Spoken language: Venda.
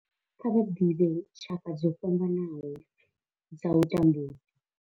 Kha vha ḓivhe tshaka dzo fhambanaho dza u tambudzwa.